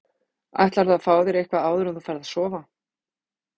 Ætlarðu að fá þér eitthvað áður en þú ferð að sofa?